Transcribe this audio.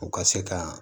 U ka se ka